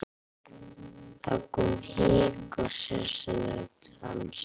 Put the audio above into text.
Það kom hik á sessunaut hans.